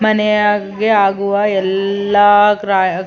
ಮನೆಯಗೆ ಆಗುವ ಎಲ್ಲಾ ಕ್ರಾಯ್ --